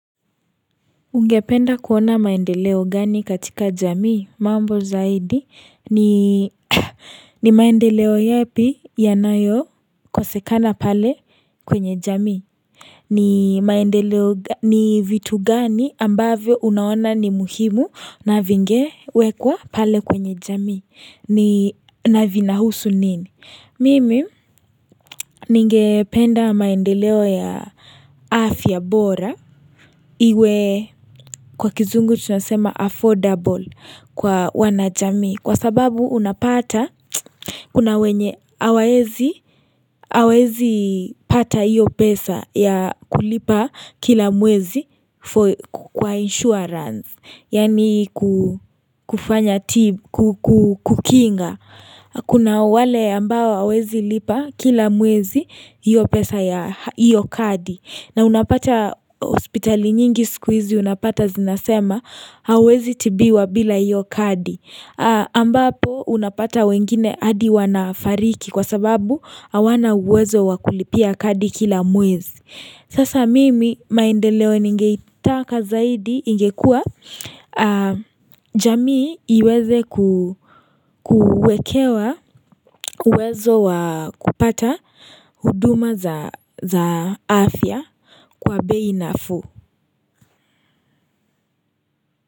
Ungependa kuona maendeleo gani katika jamii? Mambo zaidi ni ni maendeleo yepi yanayo kosekana pale kwenye jamii? Ni maendeleo, ni vitu gani ambavyo unaona ni muhimu na vingewekwa pale kwenye jamii na vinahusu nini? Mimi ningependa maendeleo ya afya bora Iwe kwa kizungu tunasema affordable kwa wanajamii kwa sababu unapata kuna wenye hawaezi pata hiyo pesa ya kulipa kila mwezi kwa insurance, yaani kufanya kukinga. Kuna wale ambao hawawezi lipa kila mwezi, hiyo pesa ya hiyo kadi. Na unapata hospitali nyingi siku hizi unapata zinasema, hauwezi tibiwa bila hiyo kadi. Ambapo unapata wengine hadi wanafariki kwa sababu hawana uwezo wa kulipia kadi kila mwezi. Sasa mimi maendeleo ningeitaka zaidi ingekua jamii iweze kuwekewa uwezo wa kupata huduma za afya kwa bei nafuu.